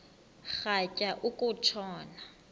rhatya uku tshona